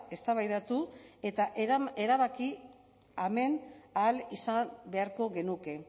eztabaidatu eta erabaki hemen ahal izan beharko genuke